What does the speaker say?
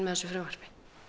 þessu frumvarpi